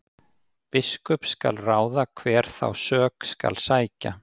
Biskup skal ráða hver þá sök skal sækja.